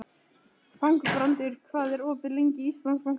Þangbrandur, hvað er opið lengi í Íslandsbanka?